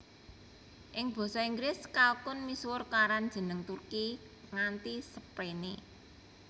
Ing basa Inggris kalkun misuwur karan jeneng Turkey nganti srepéné